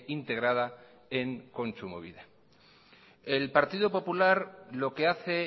integrada en kontsumobide el partido popular lo que hace